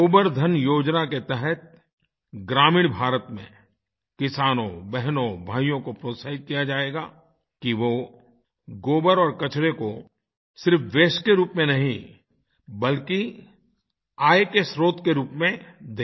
गोबर धन योजना के तहत ग्रामीण भारत में किसानों बहनों भाइयों को प्रोत्साहित किया जाएगा कि वो गोबर और कचरे को सिर्फ वास्ते के रूप में नहीं बल्कि आय के स्रोत के रूप में देखें